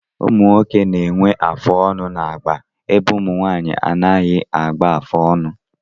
Ụmụnwoke na-enwe afụ ọnụ n'agba ebe ụmụnwaanyị anaghị agba afụ ọnụ